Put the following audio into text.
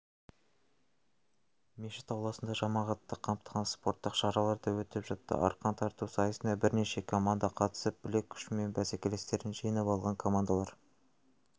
мешіт ауласында жамағатты қамтыған спорттық шаралар да өтіп жатты арқан тарту сайысына бірнеше команда қатысып білек күшімен бәсекелестерін жеңіп алған командалар